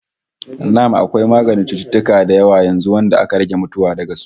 Na'am, akwai maganin cututtuka da yawa yanzu wanda aka rage mutuwa daga su